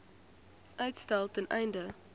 uitstel ten einde